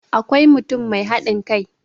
akwai mutum Mai haɗin kai